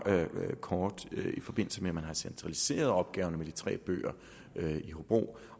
kort i forbindelse med at man har centraliseret opgaverne med de tre bøger i hobro